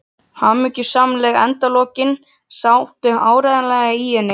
Hamingjusamleg endalokin sátu áreiðanlega í henni.